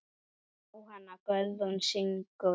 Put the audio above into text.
Jóhanna Guðrún syngur.